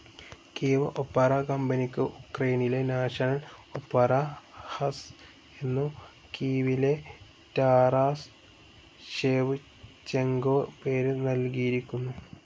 Kyiv opera കമ്പനിക്കു ഉക്രൈനിലെ national opera house എന്നു കീവിലെ റ്റാറാസ് ഷേവ്ചെങ്കോ പേര് നൽകിയിരിക്കുന്നു.